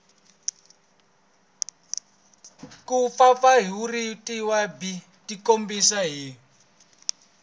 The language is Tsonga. ku mpfampfarhutiwa byi tikombisa hi